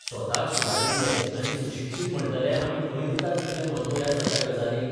स्वताक सुदारिल्ले आनी सुशिक्षीत म्हण्टले आमी खंय दितात इतलें म्हत्व ह्या सगळ्या गजालींक?